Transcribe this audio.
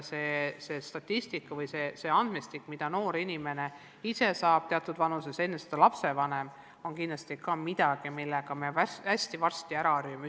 See statistika või see andmestik, mille noor inimene ise saab teatud vanuses ja enne seda lapsevanemad, on kindlasti midagi, millega me varsti hästi ära harjume.